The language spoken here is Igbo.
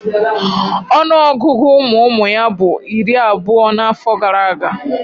Ọnụọgụgụ ụmụụmụ ya bu iri abuo n'afo gara aga.